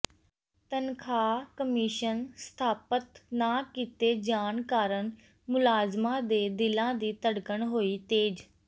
ਤਨਖ਼ਾਹ ਕਮਿਸ਼ਨ ਸਥਾਪਤ ਨਾ ਕੀਤੇ ਜਾਣ ਕਾਰਨ ਮੁਲਾਜ਼ਮਾਂ ਦੇ ਦਿਲਾਂ ਦੀ ਧਡ਼ਕਣ ਹੋਈ ਤੇਜ਼